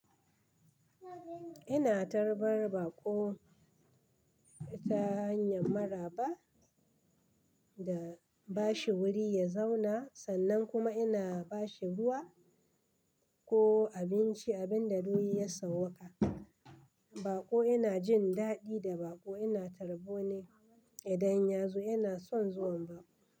Ina tarbar baƙo ta hanyar maraba da bashi wuri ya zauna, sannan kuma ina bashi ruwa ko abinci abin da dai ya sauwaƙa. Baƙo yana jin daɗi da baƙo ina tarbo ne idan ya zo yana son zuwan baƙo.